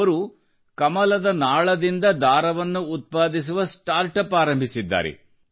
ಅವರು ಕಮಲದ ಹೂವಿನ ನಾಳದಿಂದ ದಾರವನ್ನು ಉತ್ಪಾದಿಸುವ ಸ್ಟಾರ್ಟ್ಅಪ್ ಆರಂಭಿಸಿದ್ದಾರೆ